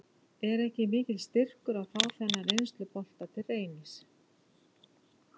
Er ekki mikill styrkur að fá þennan reynslubolta til Reynis?